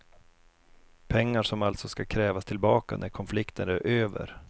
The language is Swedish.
Pengar som alltså ska krävas tillbaka när konflikten är över.